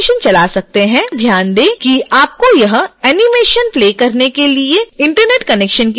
कृपया ध्यान दें कि आपको यह animation प्ले करने के लिए internet connection की जरूरत नहीं है